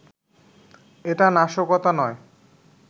এটা নাশকতা নয়